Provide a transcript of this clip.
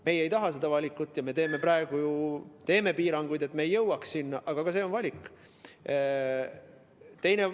Meie ei taha seda valikut ja me teeme praegu ju piiranguid, et me ei jõuaks sinna, aga ka see on valik.